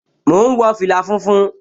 Mò ún wọ fìlà funfun